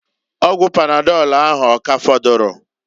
Ọgwụ panadọlụ ahu, ọ ka afọdụrụ?